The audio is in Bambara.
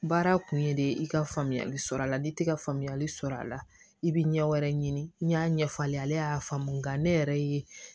Baara kun ye de i ka faamuyali sɔrɔ a la n'i tɛ ka faamuyali sɔrɔ a la i bɛ ɲɛ wɛrɛ ɲini n'a ɲɛfɔ ale ye ale y'a faamu nka ne yɛrɛ ye